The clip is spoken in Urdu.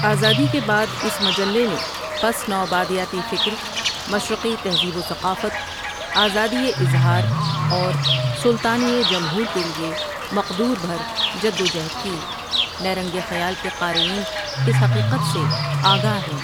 آزادی کے بعد اس مجلے نے پس نو آبادیاتی فکر، مشرقی تہذیب و ثقافت، آزادیِ اظہار اور سلطانی ٔ جمہور کے لیے مقدور بھر جد و جہد کی نیرنگ خیال کے قارئین اس حقیقت سے آ گاہ ہیں ۔